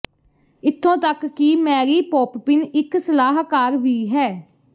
ਇਥੋਂ ਤੱਕ ਕਿ ਮੈਰੀ ਪੋਪਪਿਨ ਇੱਕ ਸਲਾਹਕਾਰ ਵੀ ਹੈ